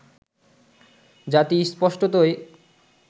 জাতি স্পষ্টতই